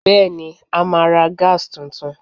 Bẹ́ẹ̀ni, a máa ra Gas tuntun